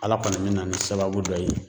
Ala kɔni bi na ni sababu dɔ ye